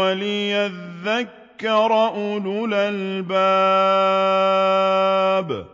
وَلِيَذَّكَّرَ أُولُو الْأَلْبَابِ